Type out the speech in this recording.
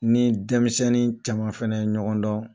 I ni denmisɛnniw caman fana ye ɲɔgɔn dɔn